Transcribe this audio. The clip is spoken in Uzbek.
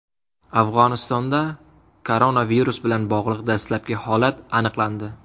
Afg‘onistonda koronavirus bilan bog‘liq dastlabki holat aniqlandi.